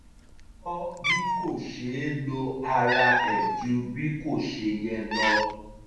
ó kọ́ bí kò ṣeé lo ara ẹ̀ ju bí kò ṣe yẹ lọ